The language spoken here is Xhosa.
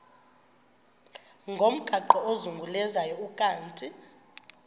ngomgaqo ozungulezayo ukanti